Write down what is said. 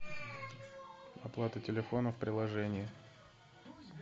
оплата телефона в приложении